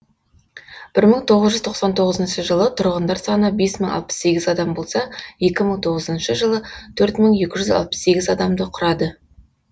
бір мың тоғыз жүз тоқсан тоғызыншы жылы тұрғындар саны бес мың алпыс сегіз адам болса екі мың тоғызыншы жылы төрт мың екі жүз алпыс сегіз адамды құрады